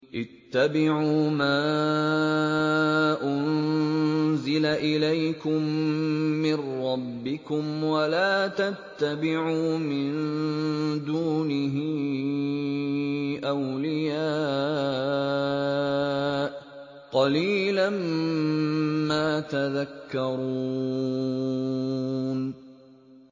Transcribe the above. اتَّبِعُوا مَا أُنزِلَ إِلَيْكُم مِّن رَّبِّكُمْ وَلَا تَتَّبِعُوا مِن دُونِهِ أَوْلِيَاءَ ۗ قَلِيلًا مَّا تَذَكَّرُونَ